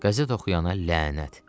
Qəzet oxuyana lənət.